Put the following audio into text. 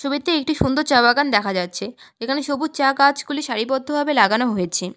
ছবিতে একটি সুন্দর চা বাগান দেখা যাচ্ছে যেখানে সবুজ চা গাছগুলি সারিবদ্ধভাবে লাগানো হয়েছে।